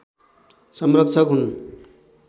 संरक्षक हुन्